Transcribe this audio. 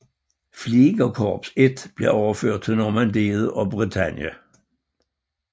Fliegerkorps I blev overført til Normandiet og Bretagne